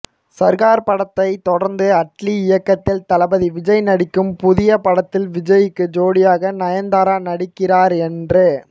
சர்கார் படத்தைத் தொடர்ந்து அட்லி இயக்கத்தில் தளபதி விஜய் நடிக்கும் புதிய படத்தில் விஜய்க்கு ஜோடியாக நயன்தாரா நடிக்கிறார் என்று